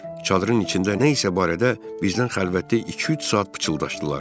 Çadırın içində nə isə barədə bizdən xəlvətdə iki-üç saat pıçıldaşdılar.